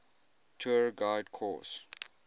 tour guide course